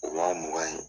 O wa mugan ye